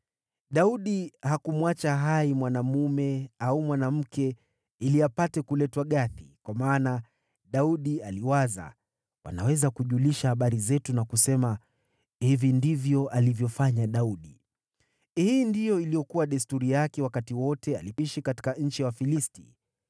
Daudi hakumwacha hai mwanaume au mwanamke ili apate kuletwa Gathi, kwa maana Daudi aliwaza, “Wanaweza kujulisha habari zetu na kusema, ‘Hivi ndivyo alivyofanya Daudi.’ ” Hii ndiyo ilikuwa desturi yake wakati wote aliishi katika nchi ya Wafilisti.